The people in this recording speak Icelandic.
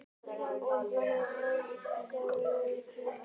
Árbjartur, hækkaðu í græjunum.